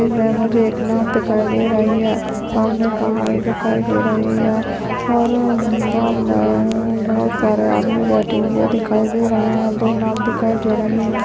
मुझे एक नाव दिखाई दे रही है सामने पहाड़ दिखाई दे रहे हैं और नाव में बहोत सारे आदमी बैठे हुए दिखाई दे रहे हैं दो नाव दिखाई दे रही हैं।